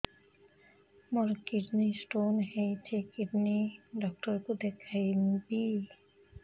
ମୋର kidney stone ହେଇଛି kidney doctor କୁ ଦେଖାଇବି